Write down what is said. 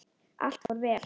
Allt fór vel.